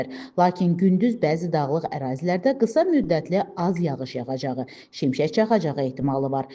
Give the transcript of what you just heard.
Lakin gündüz bəzi dağlıq ərazilərdə qısa müddətli az yağış yağacağı, şimşək çaxacağı ehtimalı var.